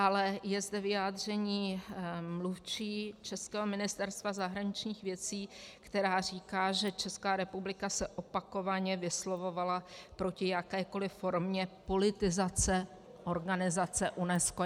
Ale je zde vyjádření mluvčí českého ministerstva zahraničních věcí, která říká, že Česká republika se opakovaně vyslovovala proti jakékoliv formě politizace organizace UNESCO.